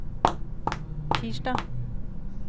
tirsdag